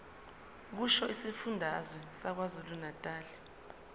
kusho isifundazwe sakwazulunatali